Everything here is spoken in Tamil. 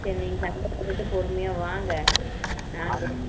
நீங்க சண்டை போட்டுட்டு பொறுமையா வாங்க